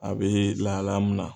A bee lahalaya mun na